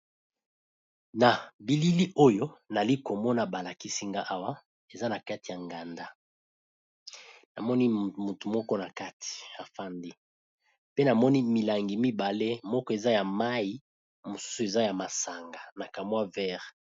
Na bilili oyo nali komona balakisinga awa eza na kati ya nganda namoni mutu moko na kati afandi pe namoni milangi mibale moko eza ya mai mosusu eza ya masanga na kamwa vert.